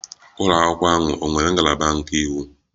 Ụlọ akwụkwọ ahụ ọ nwere ngalaba nke iwu?